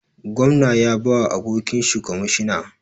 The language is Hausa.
Gwamna ya bawa abokinshi kwamishina